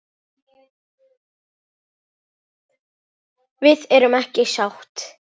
Við erum ekki sátt.